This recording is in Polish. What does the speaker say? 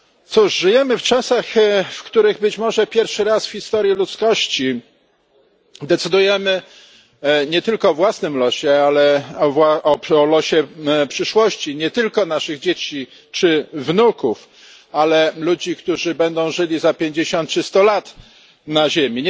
Cóż, żyjemy w czasach, w których być może pierwszy raz w historii ludzkości decydujemy nie tylko o własnym losie, ale o losie, przyszłości nie tylko naszych dzieci czy wnuków, ale ludzi, którzy będą żyli za pięćdziesiąt czy sto lat na Ziemi.